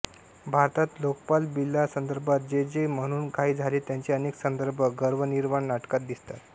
भारतात लोकपाल बिलासंदर्भात जे जे म्हणून काही झाले त्याचे अनेक संदर्भ गर्वनिर्वाण नाटकात दिसतात